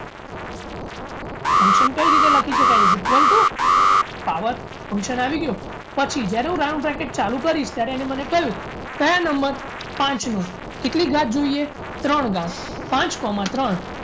Function કઈ રીતે લખી શકાય is equal to power function આવી ગયું પછી જ્યારે હું round packet ચાલુ કરીશ ત્યારે એને મને કહ્યું કયા number પાંચમો કેટલી ઘાત જોઈએ ત્રણ ઘાત પાંચ coma ત્રણ